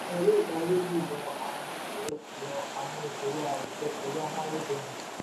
um bua cement jèrè náírà mẹ́tàdínlọ́gọ́ta um fifty seven point five seven zero lásìkò náà gẹ́gẹ́ bíi akànṣe.